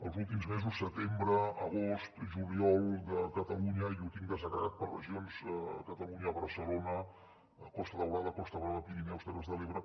els últims mesos setembre agost juliol i ho tinc desagregat per regions a catalunya barcelona costa daurada costa brava pirineus terres de l’ebre